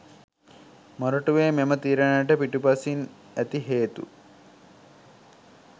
මොරටුවේ මෙම තීරණයට පිටුපසින් ඇති හේතු